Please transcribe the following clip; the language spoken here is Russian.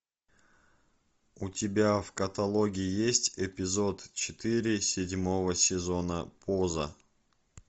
у тебя в каталоге есть эпизод четыре седьмого сезона поза